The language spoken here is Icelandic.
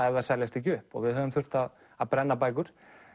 ef þær seljast ekki upp og við höfum þurft að brenna bækur